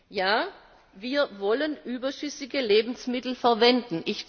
Ja, wir wollen überschüssige Lebensmittel verwenden.